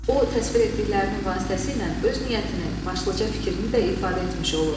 O təsvir etdiklərinin vasitəsilə öz niyyətini, başlıca fikrini də ifadə etmiş olur.